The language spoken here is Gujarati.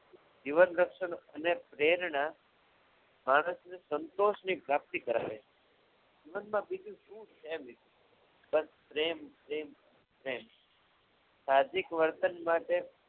જીવન રક્ષક અને પ્રેરણા માણસને સંતોષની પ્રાપ્તિ કરાવે છે જીવનમાં બીજું શું છે મિત્રો પ્રેમ પ્રેમ કંઈ નહીં સાદિક વર્તન માટે